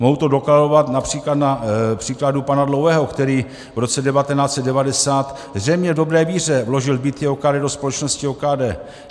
Mohu do dokladovat například na příkladu pana Dlouhého, který v roce 1990, zřejmě v dobré víře, vložil byty OKD do společnosti OKD.